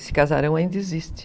Esse casarão ainda existe.